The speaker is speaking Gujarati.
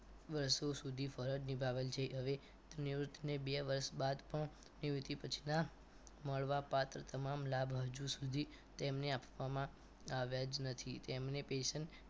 વર્ષો સુધી ફરજ નિભાવેલ છે હવે તો નિવૃત્તિને બે વર્ષ બાદ પણ નિવૃત્તિ પછીના મળવા પાત્ર તમામ લાભ હજી સુધી તેમને આપવામાં આવ્યા જ નથી તેમને present